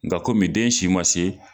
Nka kɔmi den si ma se.